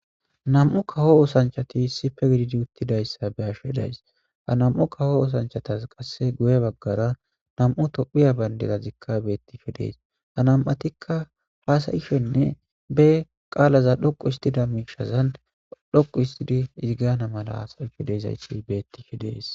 Nam'u kawo oosanchati issippe gididi uttidayssa be'ashe de'ays;ha nam'u kawo oosanchatas qasse guye baggara nam'u tophphiya bandirazika beetishe de'es; ha nam'atikka haasa'ishenne be qaalaza dhoqqu histida miishshazan dhoqqu histidi izi gaana mala haasa'ishe de'izayssi beetishe de'es.